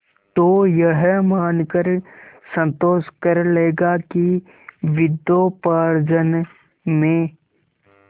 तो यह मानकर संतोष कर लेगा कि विद्योपार्जन में